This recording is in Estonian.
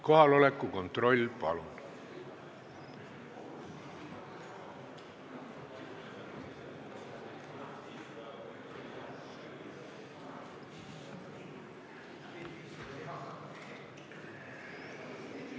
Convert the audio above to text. Kohaloleku kontroll, palun!